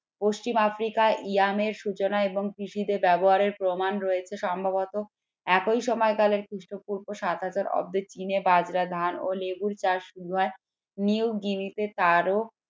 পশ্চিম আফ্রিকায় সূচনা এবং কৃষিতে ব্যবহারের প্রমাণ রয়েছে সম্ভবত একই সময় কালের খ্রিস্টপূর্ব সাত হাজার অব্দে চিনে বাজরা ধান ও লেবুর চাষ শুরু হয়